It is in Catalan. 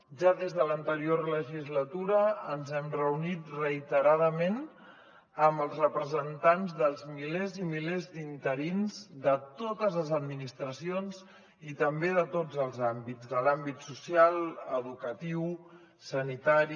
ja des de l’anterior legislatura ens hem reunit reiteradament amb els representants dels milers i milers d’interins de totes les administracions i també de tots els àmbits de l’àmbit social educatiu sanitari